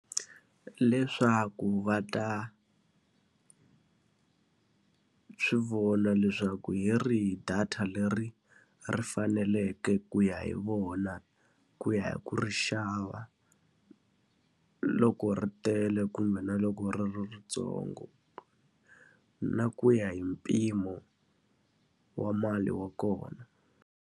Leswaku va ta swi vona leswaku hi rihi data leri ri faneleke ku ya hi vona, ku ya hi ku ri xava, loko ri tele kumbe na loko ri ri rintsongo. Na ku ya hi mpimo wa mali ya kona.